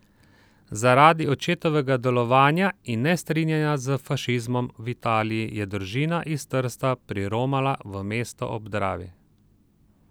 Zaradi očetovega delovanja in nestrinjanja s fašizmom v Italiji je družina iz Trsta priromala v mesto ob Dravi.